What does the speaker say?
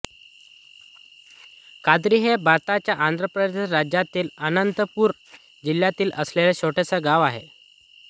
कादिरी हे भारताच्या आंध्र प्रदेश राज्यातील अनंतपूर जिल्ह्यात असलेले छोटे गाव आहे